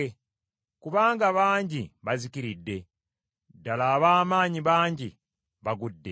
Kubanga bangi bazikiridde, ddala ab’amaanyi bangi bagudde.